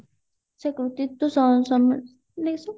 ସେ କୃତିତ୍ଵ ସ ସ